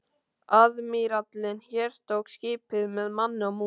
Aðmírállinn hertók skipið með manni og mús.